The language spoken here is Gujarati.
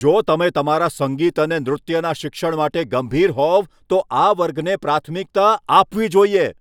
જો તમે તમારા સંગીત અને નૃત્યના શિક્ષણ માટે ગંભીર હોવ, તો આ વર્ગને પ્રાથમિકતા આપવી જોઈએ.